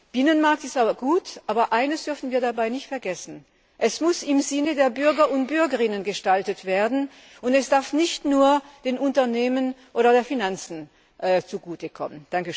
Binnenmarkt ist gut, aber eines dürfen wir dabei nicht vergessen Er muss im Sinne der Bürger und Bürgerinnen gestaltet werden, und er darf nicht nur den Unternehmen oder der Finanzwelt zugute kommen.